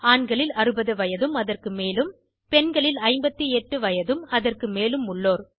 ஆண்களில் 60 வயதும் அதற்கு மேலும் பெண்களில் 58 வயதும்அதற்கு மேலும் உள்ளோர்